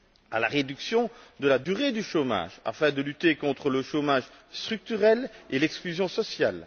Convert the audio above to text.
à la réduction de la durée du chômage afin de lutter contre le chômage structurel et l'exclusion sociale.